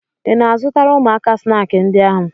Ị na-azụtara ụmụaka snaakị ndị a?